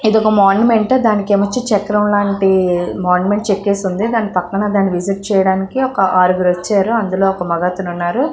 ఇదొక మొన్మెంట్ దాని కింద చక్రం లాంటి మన్మెంట్ చెక్కేసి ఉంది. దాని పక్కన దాన్ని విసిట్ చేయడానికి ఒక ఆరుగురు వచ్చారు. అందులో ఒక మగతను ఉన్నారు.